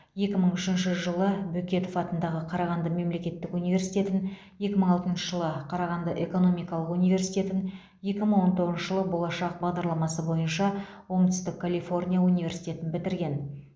екі мың үшінші жылы бөкетов атындағы қарағанды мемлекеттік университетін екі мың алтыншы жылы қарағанды экономикалық университетін екі мың он тоғызыншы жылы болашақ бағдарламасы бойынша оңтүстік калифорния университетін бітірген